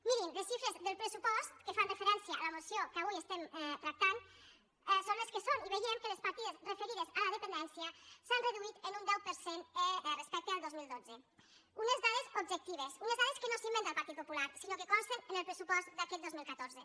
mirin les xifres del pressupost que fan referència a la moció que avui estem tractant són les que són i veiem que les partides referides a la dependència s’han reduït en un deu per cent respecte al dos mil dotze unes dades objectives unes dades que no s’inventa el partit popular sinó que consten en el pressupost d’aquest dos mil catorze